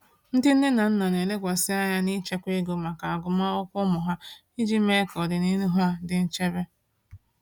Ndị nne na nna na-elekwasị anya n’ịchekwa ego maka agụmakwụkwọ ụmụ ha iji mee ka ọdịnihu ha dị nchebe.